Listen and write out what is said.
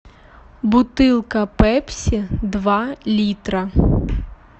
бутылка пепси два литра